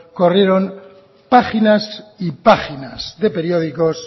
corrieron páginas y páginas de periódicos